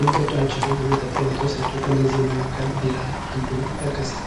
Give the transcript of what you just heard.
የሚጠጧቸው የመጠጥ አይነቶች ናቸው። ከእነዚህም መካከል ቢራ አንዱ ይጠቀሳል።